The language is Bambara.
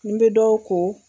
N bɛ dɔw ko